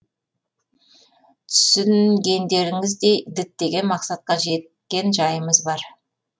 түсінгендеріңіздей діттеген мақсатқа жеткен жайымыз бар